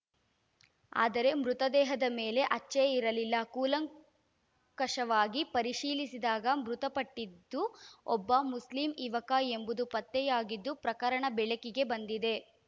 ಆದರೆ ಮೃತದೇಹದ ಮೇಲೆ ಹಚ್ಚೆ ಇರಲಿಲ್ಲ ಕೂಲಂಕಷವಾಗಿ ಪರಿಶೀಲಿಸಿದಾಗ ಮೃತಪಟ್ಟಿದ್ದು ಒಬ್ಬ ಮುಸ್ಲಿಂ ಯುವಕ ಎಂಬುದು ಪತ್ತೆಯಾಗಿದ್ದು ಪ್ರಕರಣ ಬೆಳಕಿಗೆ ಬಂದಿದೆ